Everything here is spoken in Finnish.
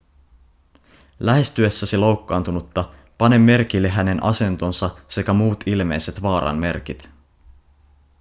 lähestyessäsi loukkaantunutta pane merkille hänen asentonsa sekä muut ilmeiset vaaran merkit